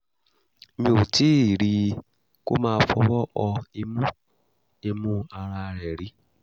) mi ò tíì rí i kó máa fọwọ́ họ imú imú ara rẹ̀ rí